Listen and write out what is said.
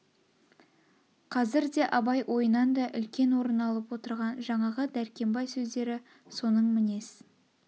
қазірде абай ойынан да үлкен орын алып отырған жаңағы дәркембай сөздері соның мінез